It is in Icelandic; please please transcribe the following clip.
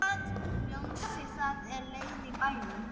Ljósið það leiðir í bæinn.